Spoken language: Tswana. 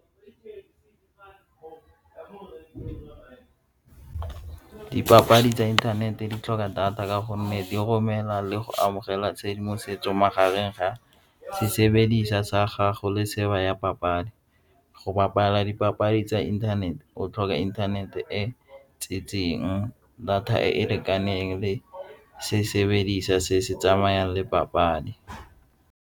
Dipapadi tsa inthanete di tlhoka data ka gonne di romela le go amogela tshedimosetso magareng ga sesebedisa sa gago le ya papadi. Go bapala dipapadi tsa inthanete o tlhoka inthanete e tsentseng data e e lekaneng le sesebedisa se se tsamayang le papadi.